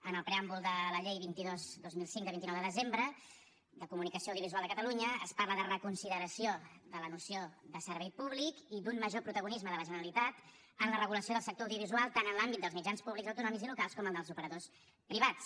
en el preàmbul de la llei vint dos dos mil cinc de vint nou de desembre de la comunicació audiovisual de catalunya es parla de reconsideració de la noció de servei públic i d’un major protagonisme de la generalitat en la regulació del sector audiovisual tant en l’àmbit dels mitjans públics autonòmics i locals com en els operadors privats